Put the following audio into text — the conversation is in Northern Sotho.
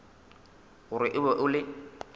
gore o be o le